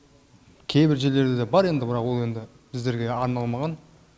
кейбір жерлерде бар енді бірақ ол енді біздерге арналмаған